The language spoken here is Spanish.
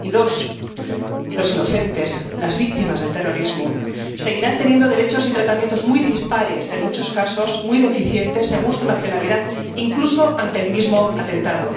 y dos, los inocentes, las víctimas del terrorismo, que seguirán teniendo derechos y tratamientos muy dispares —en muchos casos, muy deficientes— según su nacionalidad, incluso ante el mismo atentado.